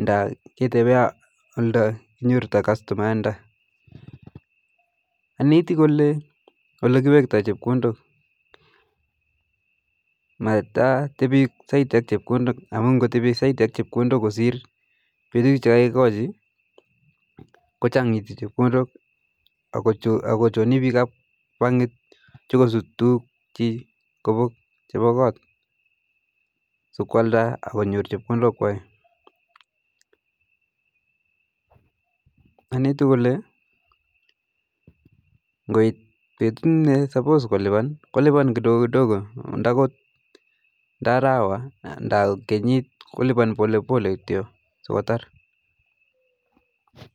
nda ketepee oldo kenyoru customayat ndo, aneti kole kiwektoi chepkondok matatepi saiti ak chepkondok amu ngotepi saiti ak chepkondok kosir petu che kakekoji kochangitu chepkondok akochoni piko ap bankit chokosut tukuk chi kobok chepa kot so kwalda konyor chepkondok kwai, aneti kole ngoit petu ne supos kolipan kolipan kidogo kidogo ndakot mnda arawa nda kenyit kolipan pole pole kityo so kotar